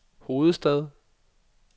hovedstad